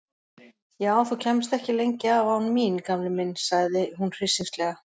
Já, þú kæmist ekki lengi af án mín gamli minn sagði hún hryssingslega.